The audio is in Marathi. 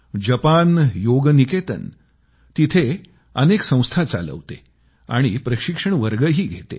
जपान योग निकेतन तिथं अनेक इन्स्टिट्यूट चालवते आणि ट्रेनिंग कोर्सेस घेते